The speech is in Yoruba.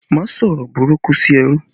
Má sọ̀rọ̀ burúkú sí ẹrú